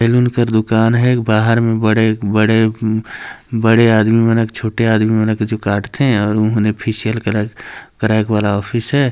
Salon कर दुकान हे बाहर में बड़े-बड़े उम्म बड़े आदमी मन हछोटे आदमी मन ह काटथे अउर वो ह फेशियल कराय कराय के वाला ऑफिस हैं ।